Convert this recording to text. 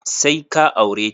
Sai ka aure ta!